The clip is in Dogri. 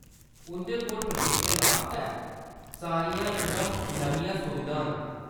उंʼदे कोल प्रशिक्षण आस्तै सारियां इकदम नमियां सुविधां न।